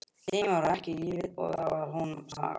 Tíminn var ekki lífið, og það var önnur saga.